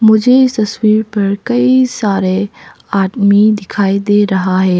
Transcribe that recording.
मुझे इस तस्वीर पर कई सारे आदमी दिखाई दे रहा है।